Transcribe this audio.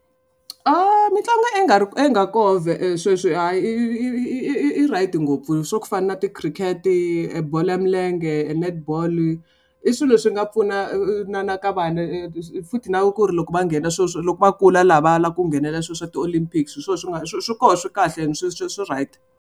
A mitlangu i nga koho sweswi i right ngopfu swa ku fana na tikhiriketi, e bolo ya milenge, netball-i, i swilo swi nga pfuna na na ka vana futhi na ku ri loko va nghena swilo swo loko va kula laha va lava ku nghenela swilo swa ti-Olympics hi swona swi nga swi swi koho swi kahle ene sweswo swi swi swi right.